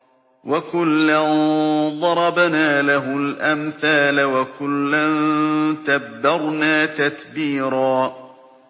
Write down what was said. وَكُلًّا ضَرَبْنَا لَهُ الْأَمْثَالَ ۖ وَكُلًّا تَبَّرْنَا تَتْبِيرًا